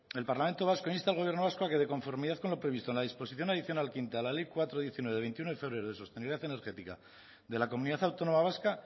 el parlamento vasco insta al gobierno vasco a que de conformidad con lo previsto en la disposición adicional quinta de la ley cuatro barra diecinueve de veintiuno de febrero de sostenibilidad energética de la comunidad autónoma vasca